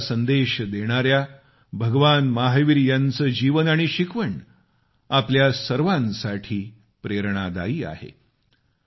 अहिंसेचा संदेश देणाऱ्या भगवान महावीर यांचे जीवन आणि शिकवण आपल्या सर्वांसाठी प्रेरणादायी आहे